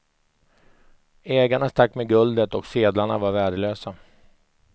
Ägarna stack med guldet och sedlarna var värdelösa.